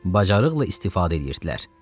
bacarıqla istifadə edirdilər.